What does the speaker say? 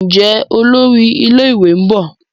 Njé Olórí ilé ìwé nbọ?